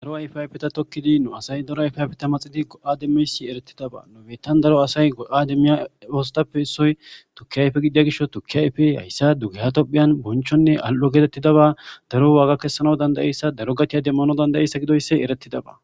Daro ayfe ayfe ta tokkidi nu asay daro ayfayfeta maxidi go'ademmeysi eretidaba nobettan daro asay go'ademmiya oostappe issoy tukki ayfe gidiya gisho tukki ayfe hayssa dugeha tohphiyan bonchonne al'o geetettidaba daro waaga kessana dandayeyssa daro gatiya demmano dandayeyssa gidoysse eretidaba